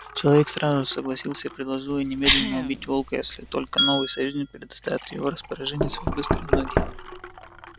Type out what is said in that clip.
человек сразу же согласился и предложил ей немедленно убить волка если только новый союзник предоставит в его распоряжение свои быстрые ноги